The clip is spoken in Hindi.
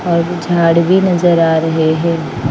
झाड़ भी नजर आ रहे हैं।